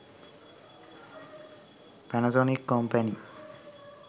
panasonic company